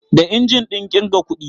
Da injin ɗin ƙirga kuɗi